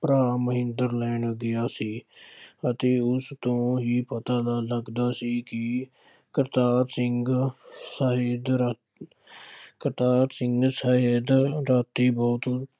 ਭਰਾ ਮਨਿੰਦਰ ਲੈਣ ਗਿਆ ਸੀ। ਅਤੇ ਉਸ ਤੋਂ ਹੀ ਪਤਾ ਨਾ ਲੱਗਦਾ ਸੀ ਕਿ ਕਰਤਾਰ ਸਿੰਘ ਸਹਿਤ ਰਾਤ ਕਰਤਾਰ ਸਿੰਘ ਸਹਿਤ ਰਾਤੀ ਬਹੁਤ